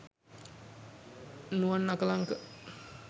nuwan akalanka